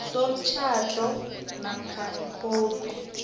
somtjhado namkha ikhophi